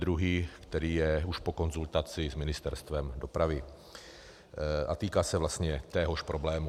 Druhý, který je již po konzultaci s Ministerstvem dopravy a týká se vlastně téhož problému.